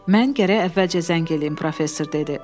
Mən gərək əvvəlcə zəng eləyim, professor dedi.